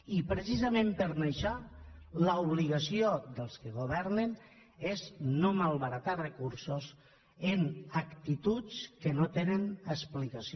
i precisament per això l’obligació dels que governen és no malbaratar recursos amb actituds que no tenen explicació